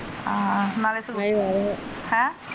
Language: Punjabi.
ਹਾ ਨਾਲੇ ਨਹੀਂ ਨਾਲ ਹੀ ਆ ਹੈਂ?